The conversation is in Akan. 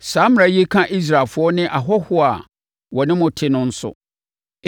Saa mmara yi ka Israelfoɔ ne ahɔhoɔ a wɔne mo te no nso.”